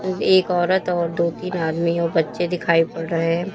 एक औरत और दो तीन आदमी और बच्चे दिखाई पड़ रहे हैं।